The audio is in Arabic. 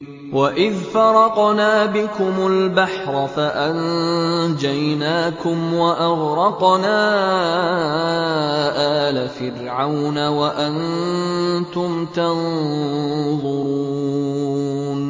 وَإِذْ فَرَقْنَا بِكُمُ الْبَحْرَ فَأَنجَيْنَاكُمْ وَأَغْرَقْنَا آلَ فِرْعَوْنَ وَأَنتُمْ تَنظُرُونَ